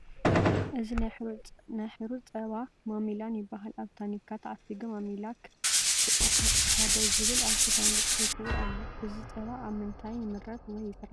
እዚ ናይ ሕሩጭ ፀባ ማሚላን ይበሃል ኣብ ታኒካ ተዓሺጉ ማሚላከ ቁፅሪ 1 ዝብል ኣብ ሽፋኑ ተፃሂፍዎ ኣሎ እዚ ፀባ ካብ ምንታይ ይምረት ወይ ይስራሕ ?